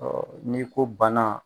n'i ko bana